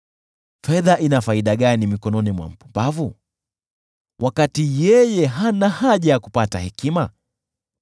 Fedha ina faida gani mikononi mwa mpumbavu, wakati yeye hana haja ya kupata hekima?